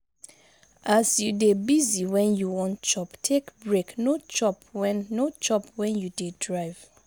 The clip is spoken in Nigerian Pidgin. as you dey busy when you wan chop take break no chop when no chop when you dey drive